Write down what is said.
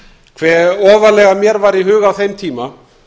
hve ofarlega mér var í huga á kom tíma